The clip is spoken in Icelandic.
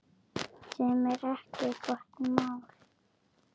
Sem er ekki gott mál.